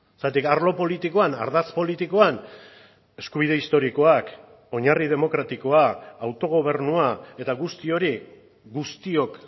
zergatik arlo politikoan ardatz politikoan eskubide historikoak oinarri demokratikoa autogobernua eta guzti hori guztiok